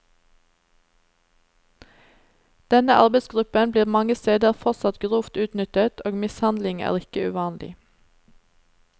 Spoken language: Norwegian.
Denne arbeidsgruppen blir mange steder fortsatt grovt utnyttet og mishandling er ikke uvanlig.